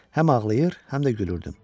Həm ağlayır, həm də gülürdüm.